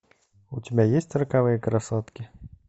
у тебя есть роковые красотки